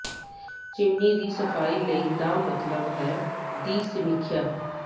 chimney ਦੀ ਸਫਾਈ ਲਈ ਦਾ ਮਤਲਬ ਹੈ ਦੀ ਸਮੀਖਿਆ